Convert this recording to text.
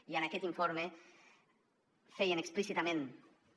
i en aquest informe feien explícitament també